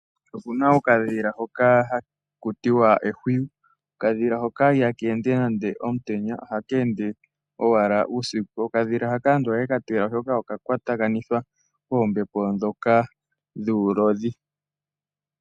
Opuna okadhila hoka haku tiwa ehwiyu, ihaka tuka omutenya, ohaka tuka uusiku. Aantu oha yeka tila oshoka oka kwatakanithwa koombepo ndhoka dhuulodhi.